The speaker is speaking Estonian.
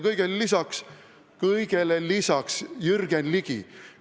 Kõigele lisaks, kõigele lisaks, Jürgen Ligi!